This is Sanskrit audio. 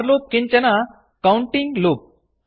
फोर लूप् किञ्चन कौण्टिङ्ग् लूप्